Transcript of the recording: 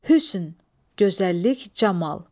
Hüsn, gözəllik, camal.